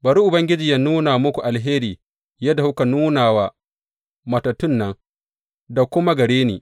Bari Ubangiji yă nuna muku alheri yadda kuka nuna wa matattun nan da kuma gare ni.